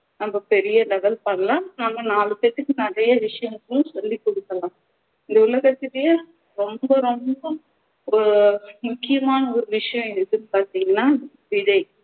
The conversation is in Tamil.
நம்ம பெரிய level பண்ணலாம் நம்ம நாலு பேத்துக்கு நிறைய விஷயங்களும் சொல்லிக் கொடுக்கலாம் ரொம்ப ரொம்ப ஆஹ் முக்கியமான ஒரு விஷயம் எதுன்னு பாத்திங்கண்ணா விதை